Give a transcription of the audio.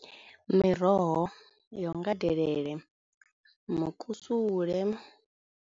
Miroho yo nga delele, mukusule.